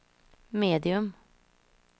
medium